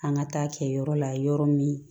An ka taa kɛ yɔrɔ la yɔrɔ min